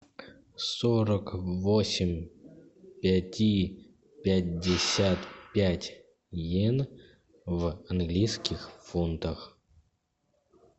сорок восемь пяти пятьдесят пять йен в английских фунтах